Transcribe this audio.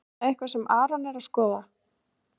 Er það eitthvað sem Aron er að skoða?